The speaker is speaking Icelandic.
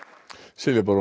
Silja Bára